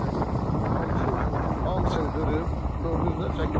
Hamısını qırıb, gördünüz də çəkibsiz.